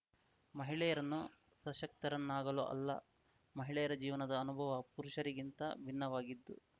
ಮಹಿಳೆಯರನ್ನು ಸಶಕ್ತರನ್ನಾಗಲು ಅಲ್ಲ ಮಹಿಳೆಯರ ಜೀವನದ ಅನುಭವ ಪುರುಷರಿಗಿಂತ ಭಿನ್ನವಾಗಿದ್ದು